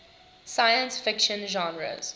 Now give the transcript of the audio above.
science fiction genres